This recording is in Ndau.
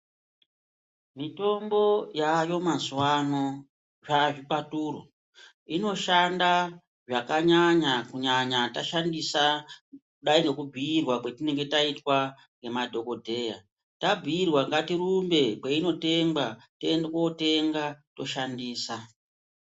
Mitombo yayo mazuva ano zvazvikwaturo inoshanda zvakanyanya kunyanya tashandisa kudai nekubhuirwa kwatinenge taitwa ngemadhogodheya. Tambuirwa ngatirumbe kwainotengwa tiende kotenga toshandisa.